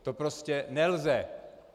To prostě nelze.